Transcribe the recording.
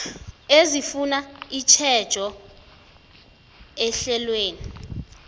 ezifuna itjhejo ehlelweni